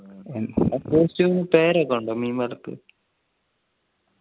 costume നു പേരൊക്കെ ഉണ്ടോ മീൻ വലക്ക്